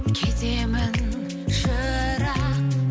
кетемін жырақ